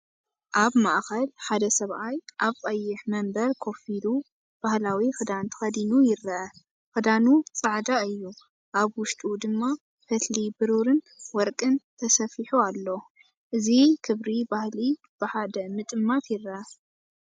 ኣብ ማእከል ሓደ ሰብኣይ ኣብ ቀይሕ መንበር ኮፍ ኢሉ፡ ባህላዊ ክዳን ተኸዲኑ ይርአ። ክዳኑ ጻዕዳ እዩ፣ ኣብ ውሽጡ ድማ ፈትሊ ብሩርን ወርቅን ተሰፊሑ ኣሎ። እዚ ክብሪ ባህሊ ብሓደ ምጥማት ይርአ።